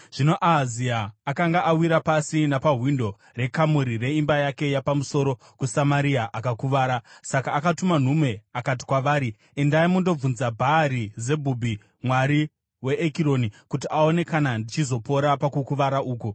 Zvino Ahazia akanga awira pasi napawindo rekamuri reimba yake yapamusoro kuSamaria akakuvara. Saka akatuma nhume akati kwavari, “Endai mundobvunza Bhaari-Zebhubhi, mwari weEkironi, kuti aone kana ndichizopora pakukuvara uku.”